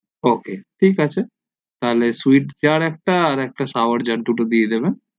ok ঠিক আছে তালে sweet jar একটা আর একটা sawar jar এই দুটো দিয়ে দেবেন